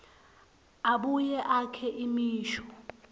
abuye akhe imisho